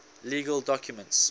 legal documents